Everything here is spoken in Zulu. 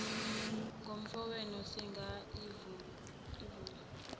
ngomfowenu singaka ivule